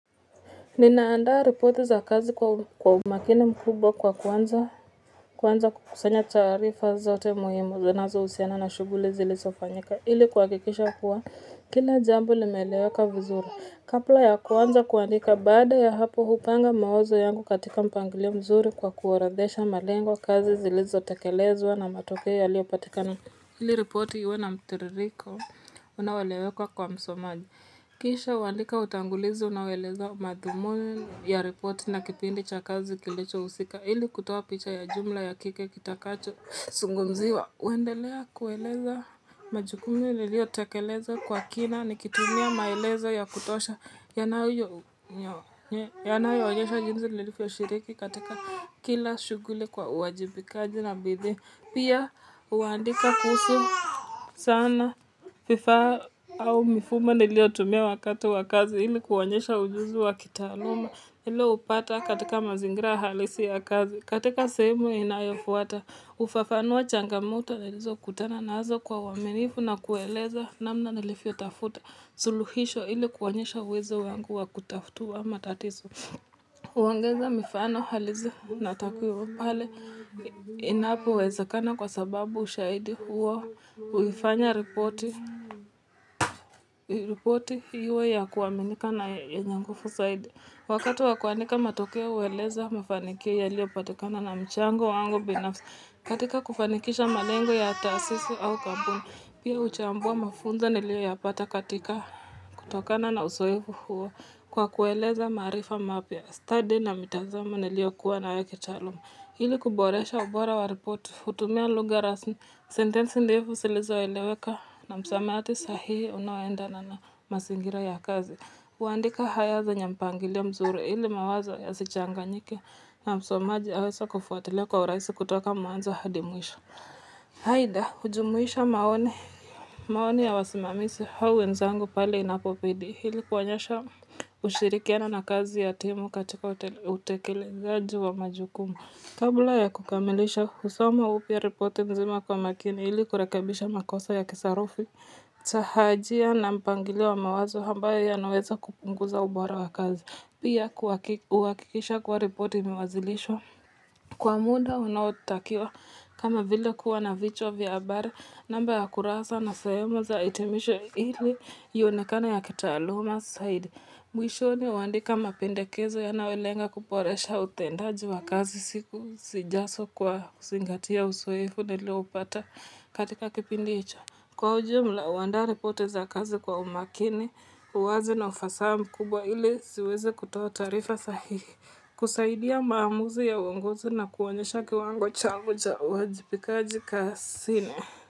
Ninaandaa ripoti za kazi kwa umakini mkubwa kwa kuanza kukusanya taarifa zote muhimu zinazo husiana na shughuli zilizofanyika ili kuha kikisha kuwa kila jambo limeeleweka vizuri. Kabla ya kuanza kuandika baada ya hapo hupanga mawazo yangu katika mpangilio mzuri kwa kuorodhesha malengo kazi zilizotekelezwa na matokeo yaliyopatikana. Ili repoti iwe na mtiririko, unaoeleweka kwa msomaji. Kisha huandika utangulizi unaoeleza madhumuni ya repoti na kipindi cha kazi kilicho husika. Ili kutoa picha ya jumla ya kile kitakacho zungumziwa. Huendelea kueleza majukumu niliyo tekeleza kwa kina ni kitumia maelezo ya kutosha. Yanayo onyesha jinsi nilivyo shiriki katika kila shughuli kwa uwajibikaji na bidii. Pia huandika kuhusu sana vifaa au mifumo niliyo tumia wakati wakazi ili kuonyesha ujuzi wakitaaluma. Ile hupata katika mazingira halisi ya kazi. Katika sehemu inayo fuata, hufafanua changamoto nilizo kutana nazo kwa uwaminifu na kueleza namna nilivyo tafuta. Suluhisho ili kuonyesha uwezo wangu wa kutatua matatizo. Huongeza mifano halisi na takwimu pale inapo wezekana kwa sababu ushahidi huo huifanya ripoti iwe ya kuaminika na yenyenguvu zaidi. Wakati wakuandika matokea hueleza mfanikio ya liyo patikana na mchango wangu binafsi katika kufanikisha malengo ya taasisi au kampuni. Pia huchambua mafunzo ni liyo yapata katika kutokana na uzoefu huo kwa kueleza maarifa mapya stadi na mitazamo ni liyo kuwa na yo kitaaluma. Ili kuboresha ubora wa ripoti, hutumia lugha rasmi, sentensi ndefu zilizo eleweka na msamiati sahihi unaoenda na mazingira ya kazi. Huandika ayaze nyempangilio mzuri ili mawazo ya sichanganyike na msomaji aweze kufuatilia kwa urahisi kutoka mwanzo hadimwisho. Aidha hujumuisha maoni ya wasimamizi au wenzangu pale inapobidi ili kuonyesha ushirikiano na kazi ya timu katika utekelezaji wa majukumu kabla ya kukamilisha husoma upya ripoti mzima kwa makini ili kurekebisha makosa ya kisarufi, tahajia na mpangiliowa mawazo ambayo ya naweza kupunguza ubora wa kazi, pia huhakikisha kuwa ripoti imewazilishwa. Kwa muda unaotakiwa kama vile kuwa na vichwa vya habari namba ya kurasa na sehemu za hitimisho ili iyonekane ya kitaaluma zaidi. Mwisho ni huandika mapendekezo ya nayolenga kuboresha utendaji wa kazi siku zijazo kwa kuzingatia uzoefu nilio upata katika kipindi hicho. Kwa ujumla, huandaari poti za kazi kwa umakini, uwazi na ufasaha kubwa ili ziweze kutoa taarifa sahihi kusaidia maamuzi ya uongozi na kuonyesha kiwango changu cha uwajibikaji kazini.